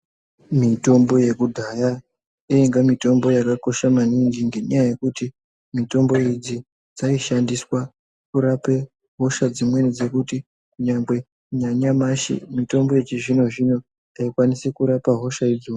Mitombo yekudhaya yainga mitombo yakakosha maningi ngenyaya yekuti mitombo idzi dzaishandiswa kurape hosha dzimweni dzekuti nyangwe nanyamashi mitombo yechizvino zvino haikwanisi kurapa hosha idzona.